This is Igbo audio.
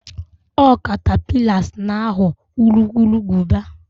ọ catapillars na ghọọ urukurubụba